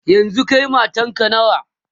yanzun Kai matanka nawa?